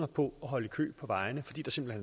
på at holde i kø på vejene fordi der simpelt